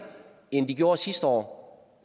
end de gjorde sidste år